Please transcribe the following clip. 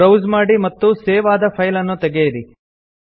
browse ಮಾಡಿ ಮತ್ತು save ಆದ ಫೈಲ್ ಅನ್ನು ತೆಗೆಯಿರಿ